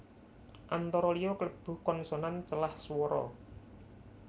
Antara liya klebu konsonan celah swara